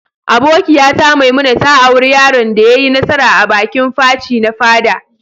Abokiya ta Maimuna ta aura yaron da ya yi nasara a'bikin Faci na fada.